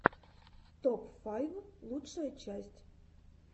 топ файв лучшая часть